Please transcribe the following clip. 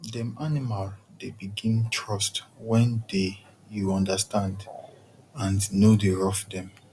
dem animal dey begin trust wen dey u understand and no dey rough dem